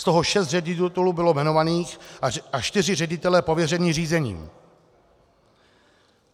Z toho šest ředitelů bylo jmenovaných a čtyři ředitelé pověřeni řízením.